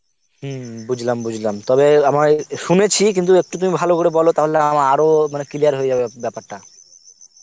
হম বুজলাম বুজলাম তবে আমার শুনেছি কিন্তু একটু তুমি ভালো করে বল তাহলে আমা~ আরো মানে clear হতে যাবে ব্যপারটা